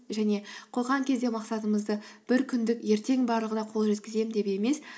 және қойған кезде мақсатымызды бір күндік ертең барлығына қол жеткіземін деп емес